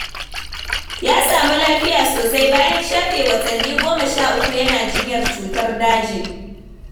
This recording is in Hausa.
Ya samu lafiya sosai bayan shafe watanni goma sha uku yana jinyar cutar daji.